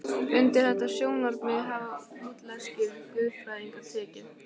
Undir þetta sjónarmið hafa lútherskir guðfræðingar tekið.